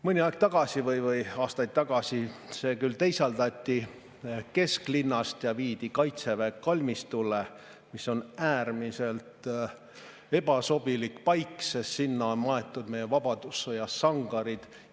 Mõni aeg tagasi või aastaid tagasi see küll teisaldati kesklinnast ja viidi Kaitseväe kalmistule, mis on äärmiselt ebasobilik paik, sest sinna on maetud meie vabadussõja sangarid.